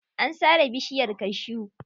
An sare bishiyar cashew.